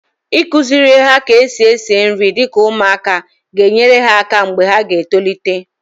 Ịkụziri ha ka-esi esi nri dịka ụmụaka ga enyere ha aka mgbe ha tolite